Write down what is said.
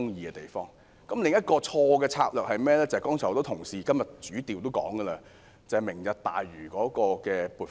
政府另一項錯誤的策略，便是很多同事今天提到，為"明日大嶼"計劃預留撥款。